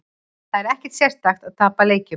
Það er ekkert sérstakt að tapa leikjum.